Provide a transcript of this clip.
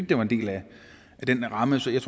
det var en del af den ramme så jeg